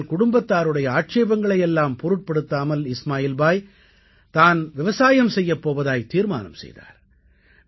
ஆனால் குடும்பத்தாருடைய ஆட்சேபங்களை எல்லாம் பொருட்படுத்தாமல் இஸ்மாயில் பாய் தான் விவசாயம் செய்யப் போவதாகத் தீர்மானம் செய்தார்